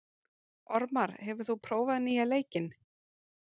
Ormar, hefur þú prófað nýja leikinn?